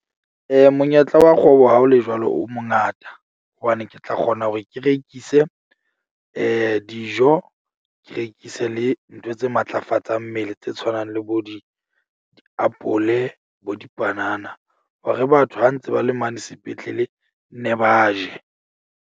Monyetla wa kgwebo ha ho le jwalo o mo ngata hobane ke tla kgona hore ke rekise dijo. Ke rekise le ntho tse matlafatsang mmele tse tshwanang le bo di diapole bo dipanana. Hore batho ha ntse ba le mane sepetlele ne ba je.